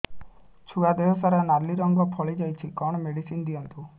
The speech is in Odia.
ଛୁଆ ଦେହ ସାରା ନାଲି ରଙ୍ଗର ଫଳି ଯାଇଛି କଣ ମେଡିସିନ ଦିଅନ୍ତୁ